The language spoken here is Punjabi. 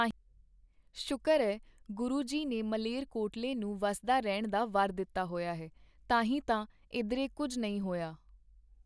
ਸ਼ੁਕਰ ਐ ਗੁਰੂ ਜੀ ਨੇ ਮਲੇਰਕੋਟਲੇ ਨੂੰ ਵਸਦਾ ਰਹਿਣ ਦਾ ਵਰ ਦਿੱਤਾ ਹੋਇਆ ਹੈ ਤਾਂ ਹੀ ਤਾਂ ਇਧਰੇ ਕੁੱਝ ਨਹੀਂ ਹੋਇਆ.